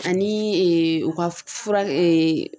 Ani u ka fura